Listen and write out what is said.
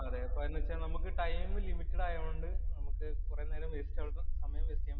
അതേ. അത് എന്തെന്ന് വച്ചാ നമുക്ക് ടൈം ലിമിറ്റഡ് ആയോണ്ട് നമുക്ക് കൊറേനേരം